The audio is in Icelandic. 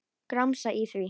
Gramsa í því.